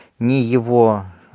не его